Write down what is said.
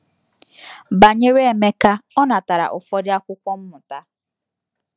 Banyere Emeka, ọ natara ụfọdụ akwụkwọ mmụta.